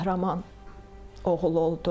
qəhrəman oğul oldu,